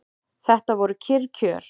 Þetta voru kyrr kjör.